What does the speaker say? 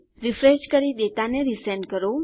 refresh કરી ડેટાને resend કરો